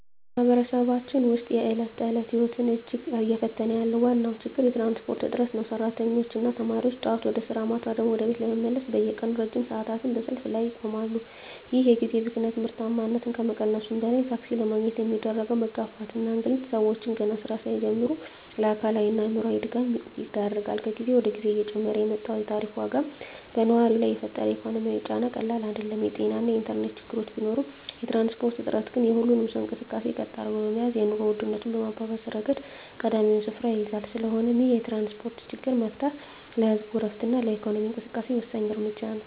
በማኅበረሰባችን ውስጥ የዕለት ተዕለት ሕይወትን እጅግ እየፈተነ ያለው ዋነኛው ችግር የትራንስፖርት እጥረት ነው። ሠራተኞችና ተማሪዎች ጠዋት ወደ ሥራ፣ ማታ ደግሞ ወደ ቤት ለመመለስ በየቀኑ ለረጅም ሰዓታት በሰልፍ ላይ ይቆማሉ። ይህ የጊዜ ብክነት ምርታማነትን ከመቀነሱም በላይ፣ ታክሲ ለማግኘት የሚደረገው መጋፋትና እንግልት ሰዎችን ገና ሥራ ሳይጀምሩ ለአካላዊና አእምሮአዊ ድካም ይዳርጋል። ከጊዜ ወደ ጊዜ እየጨመረ የመጣው የታሪፍ ዋጋም በነዋሪው ላይ የፈጠረው ኢኮኖሚያዊ ጫና ቀላል አይደለም። የጤናና የኢንተርኔት ችግሮች ቢኖሩም፣ የትራንስፖርት እጦት ግን የሁሉንም ሰው እንቅስቃሴ ቀጥ አድርጎ በመያዝ የኑሮ ውድነቱን በማባባስ ረገድ ቀዳሚውን ስፍራ ይይዛል። ስለሆነም ይህንን የትራንስፖርት ችግር መፍታት ለህዝቡ ዕረፍትና ለኢኮኖሚው እንቅስቃሴ ወሳኝ እርምጃ ነው።